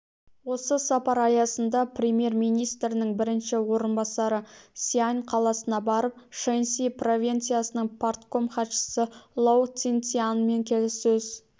осы сапар аясында премьер-министрінің бірінші орынбасары сиань қаласына барып шэньси провинциясының партком хатшысы лоу цзинцзянмен келіссөз